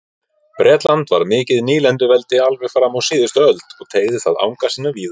Bretland var mikið nýlenduveldi alveg fram á síðust öld og teygði það anga sína víða.